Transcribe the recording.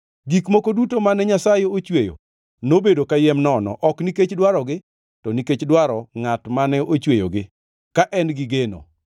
Gik moko duto mane Nyasaye ochweyo nobedo kayiem nono, ok nikech dwarogi, to nikech dwaro Ngʼat mane ochweyogi, ka en gi geno